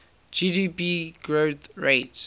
gdp growth rate